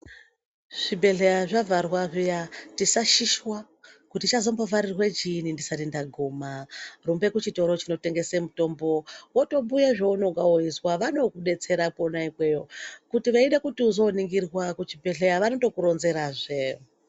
Zvibhedhleya zvavharwa zviya tisa shishwa kuti chazombo vharirwa chiinyi ndisati ndaguma rumbe kuchitoro chino tengesa mutombo wotobhuye zvaonenge weizwa vanoto kudetsera kona ikweyo kuti weida kuti uzo ningirwa ku chibhedhleya vanoku ronzera zve.